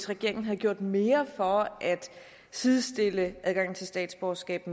regeringen havde gjort mere for at sidestille adgangen til statsborgerskab